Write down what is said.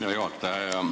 Hea juhataja!